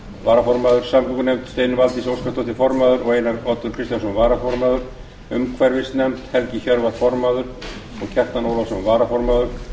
varaformaður samgöngunefnd steinunn valdís óskarsdóttir formaður og einar oddur kristjánsson varaformaður umhverfisnefnd helgi hjörvar formaður og kjartan ólafsson varaformaður